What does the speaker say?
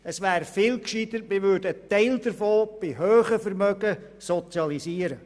Es wäre viel gescheiter, einen Teil der grossen Vermögen zu sozialisieren.